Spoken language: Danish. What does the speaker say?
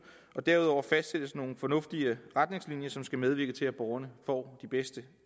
og derudover fastsættes nogle fornuftige retningslinjer som skal medvirke til at borgerne får de bedste